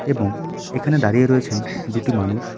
এবং এখানে দাঁড়িয়ে রয়েছেন দুটি মানুষ।